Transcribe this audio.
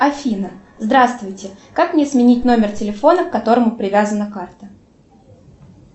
афина здравствуйте как мне сменить номер телефона к которому привязана карта